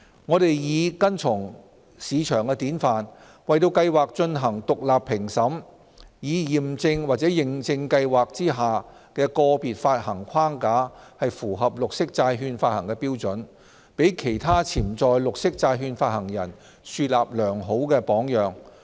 我們擬跟從市場典範，為計劃進行獨立評審，以驗證或認證計劃下的個別發行框架符合綠色債券發行標準，給其他潛在綠色債券發行人樹立良好榜樣。